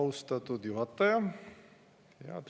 Austatud juhataja!